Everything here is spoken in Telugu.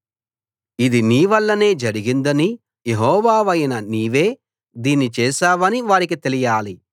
ఇది నీ వల్లనే జరిగిందనీ యెహోవావైన నీవే దీన్ని చేశావనీ వారికి తెలియాలి